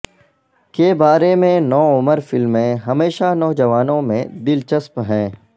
کے بارے میں نوعمر فلمیں ہمیشہ نوجوانوں میں دلچسپ ہیں